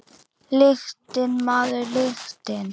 Lyktin, maður, lyktin!